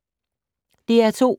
DR2